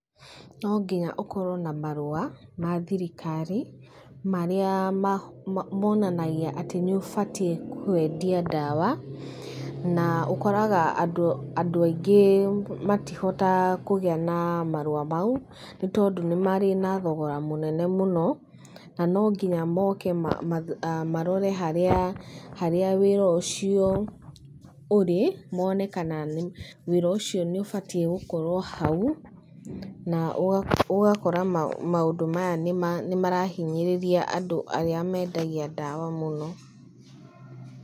No nginya ũkorwo na marũa ma thirikari marĩa, monanagia atĩ nĩ ũbatie kwendia ndawa, na ũkoraga andũ andũ aingĩ matihotaga kũgĩa na marũa mau, nĩ tondũ nĩ marĩ na thogora mũnene mũno, na no nginya moke marore harĩa harĩa wĩra ũcio ũrĩ, mone kana nĩ wĩra ũcio nĩ ũbatiĩ gũkorwo hau, na ũgakora mũndũ maya nĩ marahinyĩrĩria andũ arĩa mendagia ndawa mũno.